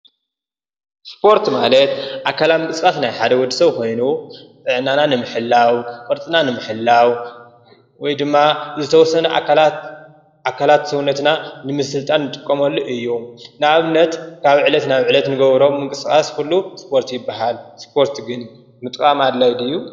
ስፖርት ማለት አካላዊ ምንቅስቃስ ናይ ሓደ ወድሰብ ኾይኑ አብ ዕለታዊ ምንቅስቃስ ጥዕና ንምሕላዉ ቅርፅና ንምሕላዉ ወይ ድማ ንዝተወሰነ አካላት ሰዉነትና ንምስልጣን ንጥቀመሉ እዪ። ንአብነት ካብ ዕለት ናብ ዕለት ንገብሮ ምንቅስቃስ ኩሉ ስፖርት ይበሃል። ስፖርት ምጥቃም አድላዪ ድዪ?